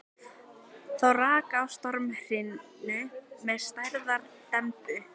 Þá rak á stormhrinu með stærðar dembu.